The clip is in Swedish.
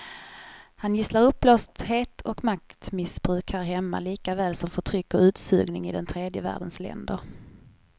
Han gisslar uppblåsthet och maktmissbruk här hemma likaväl som förtryck och utsugning i den tredje världens länder.